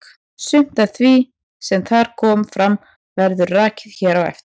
Sumt af því sem þar kom fram verður rakið hér á eftir.